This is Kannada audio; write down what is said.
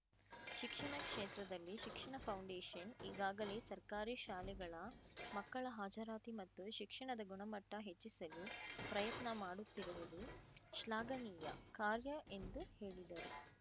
ಶಿಕ್ಷಣ ಕ್ಷೇತ್ರದಲ್ಲಿ ಶಿಕ್ಷಣ ಫೌಂಡೇಶನ್‌ ಈಗಾಗಲೆ ಸರ್ಕಾರಿ ಶಾಲೆಗಳ ಮಕ್ಕಳ ಹಾಜರಾತಿ ಮತ್ತು ಶಿಕ್ಷಣದ ಗುಣಮಟ್ಟಹೆಚ್ಚಿಸಲು ಪ್ರಯತ್ನ ಮಾಡುತ್ತಿರುವುದು ಶ್ಲಾಘನೀಯ ಕಾರ್ಯ ಎಂದು ಹೇಳಿದರು